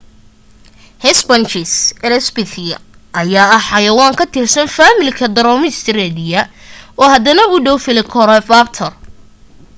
hesperonychus elizabethae ayaa ah xayawaan ka tirsan faamilka dromaeosauridae oo hadana u dhaw velociraptor